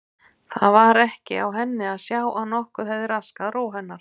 Það var ekki á henni að sjá að nokkuð hefði raskað ró hennar.